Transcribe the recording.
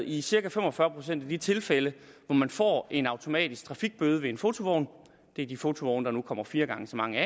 i de cirka fem og fyrre procent af de tilfælde hvor man får en automatisk trafikbøde ved en fotovogn det er de fotovogne der nu kommer fire gange så mange